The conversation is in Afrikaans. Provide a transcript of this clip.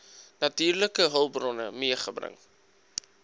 natuurlike hulpbronne meegebring